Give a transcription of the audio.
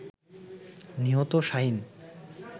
নিহত শাহীন